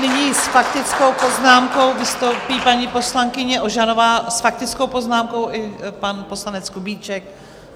Nyní s faktickou poznámkou vystoupí paní poslankyně Ožanová, s faktickou poznámkou i pan poslanec Kubíček.